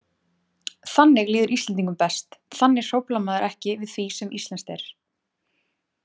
Þannig líður Íslendingum best, þannig hróflar maður ekki við því sem íslenskt er.